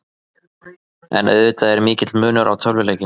En auðvitað er mikill munur á tölvuleikjum.